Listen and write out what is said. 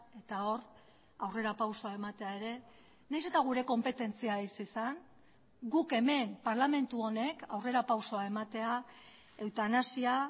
eta hor aurrerapausoa ematea ere nahiz eta gure konpetentzia ez izan guk hemen parlamentu honek aurrerapausoa ematea eutanasia